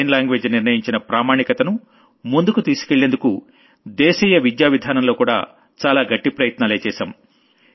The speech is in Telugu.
సైన్ లాంగ్వేజ్ నిర్ణయించిన స్టాండర్డ్ ని ముందుకు తీసుకెళ్లేందుకు దేశీయ విద్యా విధానంలోకూడా చాలా గట్టి ప్రయత్నాలే చేశాం